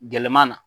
Gɛlɛman na